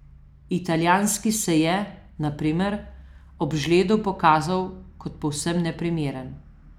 Italijanski se je, na primer, ob žledu pokazal kot povsem neprimeren.